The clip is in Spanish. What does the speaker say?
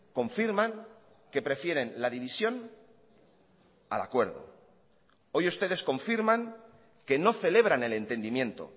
confirman que prefieren la división al acuerdo hoy ustedes confirman que no celebran el entendimiento